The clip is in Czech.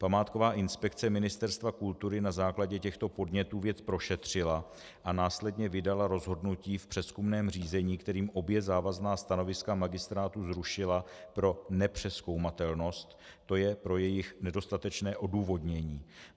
Památková inspekce Ministerstva kultury na základě těchto podnětů věc prošetřila a následně vydala rozhodnutí v přezkumném řízení, kterým obě závazná stanoviska magistrátu zrušila pro nepřezkoumatelnost, to je pro jejich nedostatečné odůvodnění.